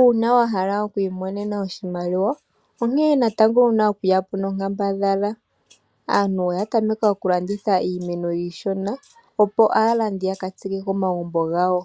Uuna wahala okwiimonena oshimaliwa onkee natango wuna okuyapo nonkambadhala. Aantu oya tameka okulanditha iimeno iishona opo aalandi yakatsike komagumbo gawo,